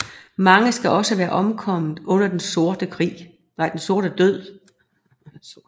Mange skal også være omkommet under Den Sorte Død